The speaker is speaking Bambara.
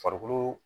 Farikolo